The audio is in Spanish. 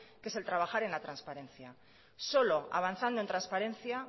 que es el trabajar en la transparencia solo avanzando en transparencia